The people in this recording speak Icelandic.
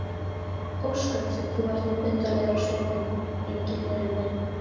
Ósköp sem þú ert nú undarlegur á svipinn, Engiferinn minn.